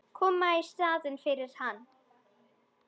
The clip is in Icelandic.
Koma í staðinn fyrir hann.